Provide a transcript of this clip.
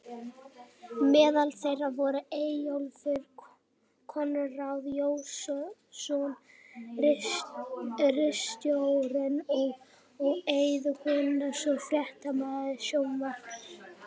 Meðal þeirra voru Eyjólfur Konráð Jónsson ritstjóri og og Eiður Guðnason fréttamaður sjónvarps.